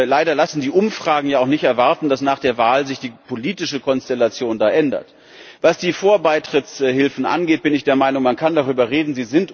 Leider lassen die Umfragen ja auch nicht erwarten, dass sich die politische Konstellation da nach der Wahl ändert. Was die Vorbeitrittshilfen angeht, bin ich der Meinung, man kann darüber reden.